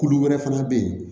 Kulu wɛrɛ fana bɛ yen